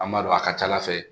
An b'a dɔn a ka ca ala fɛ